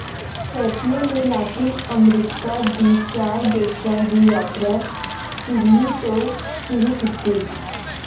Pompeo ਨੇ Latin America ਦੀ ਚਾਰ ਦੇਸ਼ਾਂ ਦੀ ਯਾਤਰਾ ਚਿਲੀ ਤੋਂ ਸ਼ੁਰੂ ਕੀਤੀ